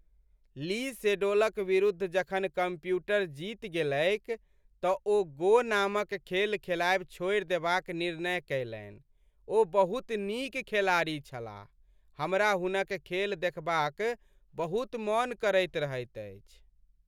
ली सेडोलक विरुद्ध जखन कम्प्यूटर जीति गेलैक तँ ओ "गो" नामक खेल खेलायब छोड़ि देबाक निर्णय कएलनि। ओ बहुत नीक खेलाड़ी छलाह, हमरा हुनक खेल देखबाक बहुत मन करैत रहैत अछि।